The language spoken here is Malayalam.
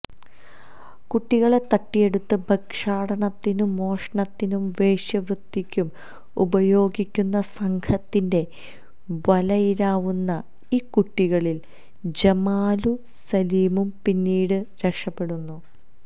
കുട്ടികളെ തട്ടിയെടുത്ത് ഭിക്ഷാടനത്തിനും മോഷണത്തിനും വേശ്യാവൃത്തിക്കും ഉപയോഗിക്കുന്ന സംഘത്തിന്റെ വലയിലാവുന്ന ഈ കുട്ടികളിൽ ജമാലും സലീമും പിന്നീട് രക്ഷപെടുന്നു